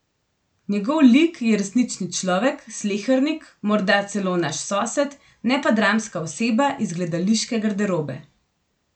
Njegov lik je resnični človek, slehernik, morda celo naš sosed, ne pa dramska oseba iz gledališke garderobe.